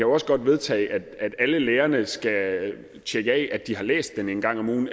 også godt vedtage at alle lærerne skal tjekke af at de har læst den en gang om ugen